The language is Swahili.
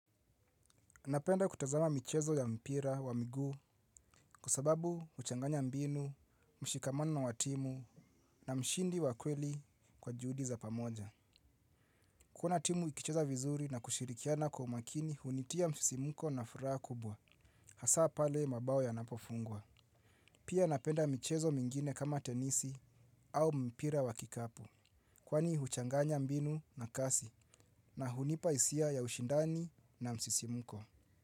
Napenda kutazama michezo ya mpira wa miguu kwa sababu huchanganya mbinu, mshikamano wa timu na mshindi wa kweli kwa juhudi za pamoja. Kuna timu ikicheza vizuri na kushirikiana kwa umakini hunitia msisimuko na furaha kubwa. Hasaa pale mabao yanapofungwa. Pia napenda michezo mingine kama tenisi au mpira wa kikapu. Kwani huchanganya mbinu na kasi na hunipa isia ya ushindani na msisimuko.